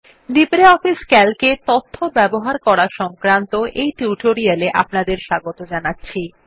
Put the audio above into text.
LibreOffice CALC এ তথ্য ব্যবহার করা সংক্রান্ত এই টিউটোরিয়াল এ স্বাগত জানাচ্ছি